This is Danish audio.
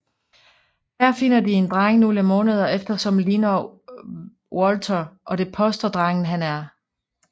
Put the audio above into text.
Her finder de en dreng nogle måneder efter som ligner Walter og det påstår drengen han er